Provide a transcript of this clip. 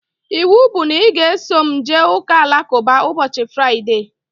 Ịwụ bụ na ị ga-eso m jee ụka alakụba ụbọchị Fraịdee!